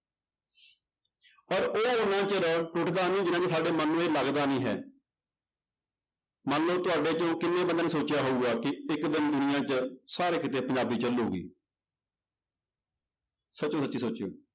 ਪਰ ਉਹ ਓਨਾ ਚਿਰ ਟੁੱਟਦਾ ਨੀ ਜਿੰਨਾ ਸਾਡੇ ਮਨ ਨੂੰ ਇਹ ਲੱਗਦਾ ਨੀ ਹੈ ਮੰਨ ਲਓ ਤੁਹਾਡੇ ਚੋਂ ਕਿੰਨੇ ਬੰਦਿਆਂ ਨੇ ਸੋਚਿਆ ਹੋਊਗਾ ਕਿ ਇੱਕ ਦਿਨ ਦੁਨੀਆਂ 'ਚ ਸਾਰੇ ਕਿਤੇ ਪੰਜਾਬੀ ਚੱਲੇਗੀ ਸੱਚੋ ਸੱਚੀ ਸੋਚਿਓ